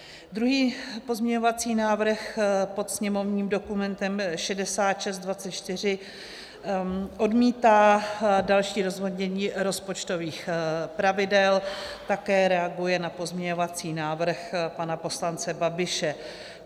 Druhý pozměňovací návrh pod sněmovním dokumentem 6624 odmítá další rozvolnění rozpočtových pravidel, také reaguje na pozměňovací návrh pana poslance Babiše.